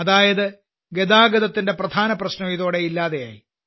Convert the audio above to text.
അതായത് ഗതാഗതത്തിന്റെ പ്രധാന പ്രശ്നം ഇതോടെ ഇല്ലാതായി